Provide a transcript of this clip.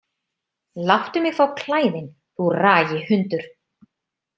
Láttu mig fá klæðin, þú ragi hundur!